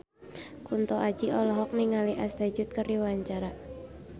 Kunto Aji olohok ningali Ashley Judd keur diwawancara